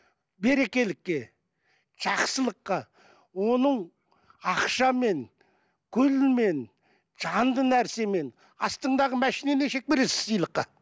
берекелікке жақсылыққа оның ақшамен гүлмен жанды нәрсемен астыңдағы машинаны бересің сыйлыққа